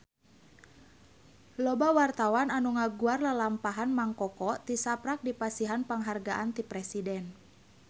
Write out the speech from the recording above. Loba wartawan anu ngaguar lalampahan Mang Koko tisaprak dipasihan panghargaan ti Presiden